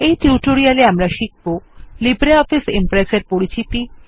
এই টিউটোরিয়াল এ আমরা শিখব লিব্রিঅফিস Impress এর পরিচিতি